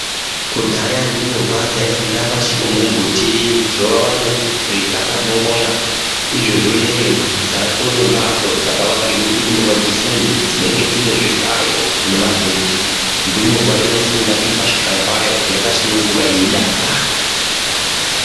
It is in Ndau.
Kudhaya ndumurwa dzaifunda pasi pemumbuti zuva richitaka ndongonya. Izvezvineyo dzatova nembatso dzakavakirwa kuti ndumurwa dzifunde, dzinenge dzine zvihlayo nemabhenji. Ndumurwa inofunda iri pachihlayo payo, yakasununguka yeidakara.